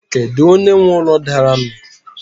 Kedu onye nwe úlọ daru nu?